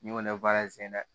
N'i ko ŋɛɲɛ baara in cɛnna dɛ